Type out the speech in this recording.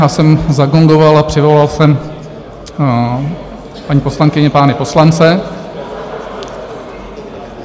Já jsem zagongoval a přivolal jsem paní poslankyně, pány poslance.